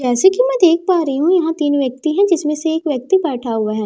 जैसे की मैं देख पा रही हूँ यहाँ तीन व्यक्ति हैं जिसमे से एक व्यक्ति बैठा हुआ हैं।